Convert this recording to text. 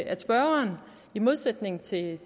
at spørgeren i modsætning til